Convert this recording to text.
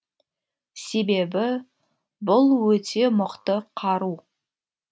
себебі бұл өте мықты қару